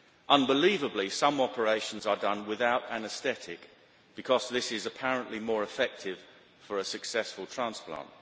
Unbelievably, some operations are done without anaesthetic, because this is apparently more effective for a successful transplant.